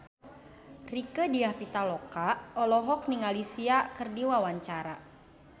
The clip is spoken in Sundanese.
Rieke Diah Pitaloka olohok ningali Sia keur diwawancara